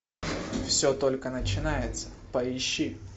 все только начинается поищи